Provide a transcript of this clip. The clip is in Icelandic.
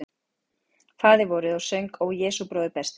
Faðirvorið og söng Ó Jesús bróðir besti.